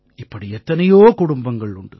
இப்படி எத்தனையோ குடும்பங்கள் உண்டு